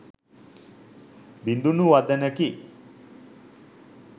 බිඳුනු වදනකි.